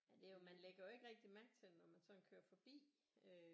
Ja det er jo man lægger jo ikke rigtig mærke til det når man sådan kører forbi øh